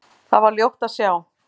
Þar var ljótt að sjá.